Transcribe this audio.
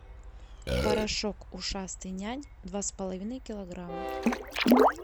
порошок ушастый нянь два с половиной килограмма